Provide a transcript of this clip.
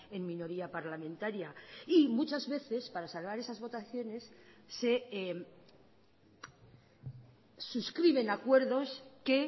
en minoría parlamentaria y muchas veces para salvar esas votaciones se suscriben acuerdos que